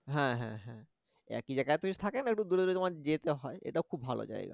হ্যা হ্যা হ্যা একই জায়গায় তো থাকে না একটু দূরে দূরে যেতে হয় এটাও খুব ভালো জায়গা